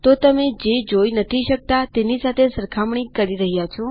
તો તમે જે જોઈ નથી શકતા તેની સાથે સરખામણી કરી રહ્યા છો